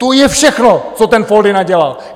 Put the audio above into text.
To je všechno, co ten Foldyna dělal!